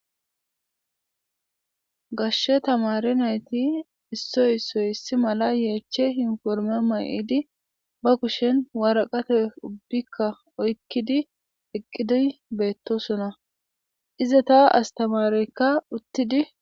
gashshe tamare nayti issoy ssoy issi mala yeeche hinforme ma7idi ba kushen waraqate ubbikka oykkidi eqqidoy beettosona ize ta astamareykka uttidi